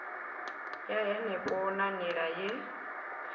ya henefho na nila ye